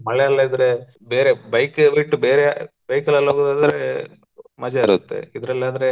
ಮಳೆ ಎಲ್ಲಾ ಇದ್ರೆ ಬೇರೆ bike ಬಿಟ್ಟು ಬೇರೆ bike ಲೆಲಾ ಹೋಗೋದದ್ರೆ ಮಜಾ ಇರುತ್ತೆ ಇದ್ರಲ್ಲದ್ರೆ